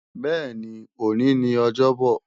Bẹ́ẹ̀ni, òní ni ọjọ́bò